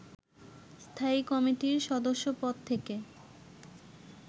স্থায়ী কমিটির সদস্য পদ থেকে